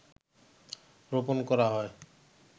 রোপণ করা হয়